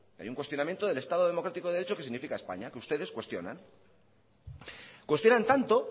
hay un cuestionamiento del estado democrático de derecho que significa españa que ustedes lo cuestionan cuestionan tanto